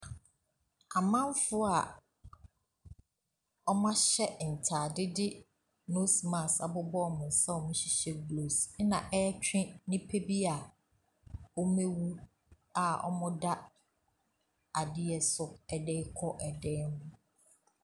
Amamfoɔ a wɔahyehyɛ ntaade de nose mask abobɔ wɔn nsa a wɔhyehyɛ gloves na ɛretwe nnipa bi wɔawu na wɔda ade so ɛde rekɔ dan mu.